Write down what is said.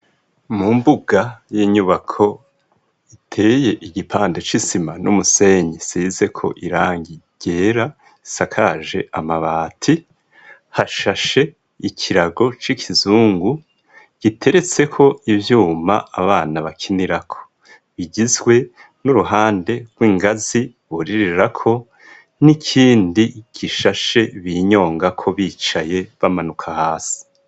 Mu mbuga y'inyubako iteye igipande c'isima n'umusenyi size ko irangi ryera isakaje amabati hashashe ikirago c'ikizungu giteretseko ivyuma abana bakinirako bigizwe n'uruhande wingazi buririrako n'ikindi gishashe binyongako bicaye bamanuka hasi.